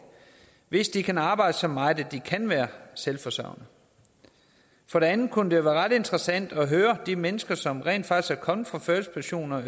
hvis de kan arbejde så meget at de kan være selvforsørgende for det andet kunne det være ret interessant at høre om de mennesker som rent faktisk er kommet fra førtidspension og